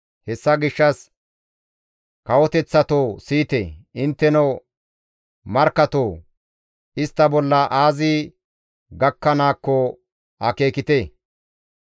Hessa gishshas kawoteththatoo, siyite! Intteno markkatoo! Istta bolla aazi gakkanaakko akeekite.